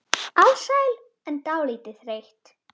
Alsæl en dálítið þreytt.